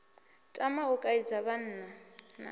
tama u kaidza vhanna na